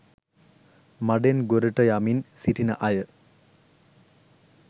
මඩෙන් ගොඩට යමින් සිටින අය